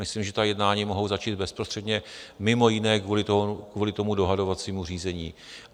Myslím, že ta jednání mohou začít bezprostředně mimo jiné kvůli tomu dohodovacímu řízení.